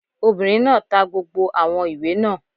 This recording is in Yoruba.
Obìnrin náà ta gbogbo àwọn ìwé náà